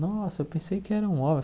Nossa, eu pensei que era um homem.